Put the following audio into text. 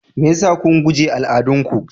Mai yasa kun guje al'adun ku?